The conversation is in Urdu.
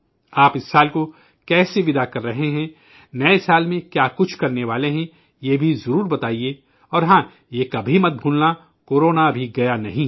آپ اس سال کو کیسے وداع کر رہے ہیں، نئے سال میں کیا کچھ کرنے والے ہیں، یہ بھی ضرور بتایئے اور ہاں یہ بھی مت بھولنا کہ کورونا ابھی گیا نہیں ہے